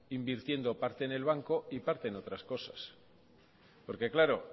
invirtiendo parte en el banco y parte en otras cosas porque claro